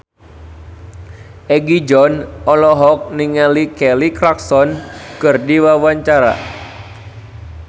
Egi John olohok ningali Kelly Clarkson keur diwawancara